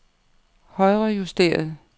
højrejusteret